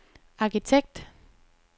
arkitekt